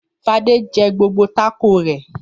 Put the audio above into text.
Fadé jẹ gbogbo tákò rẹ̀.